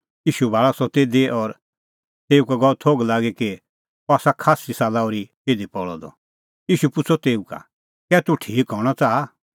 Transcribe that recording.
ईशू भाल़अ सह तिधी और तेऊ का गअ थोघ लागी कि अह आसा खास्सी साला ओर्ही इधी पल़अ द ईशू पुछ़अ तेऊ का कै तूह ठीक हणअ च़ाहा